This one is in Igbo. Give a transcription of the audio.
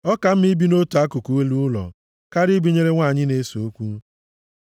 Ọ ka mma ibi nʼotu akụkụ elu ụlọ karịa ibinyere nwanyị na-ese okwu.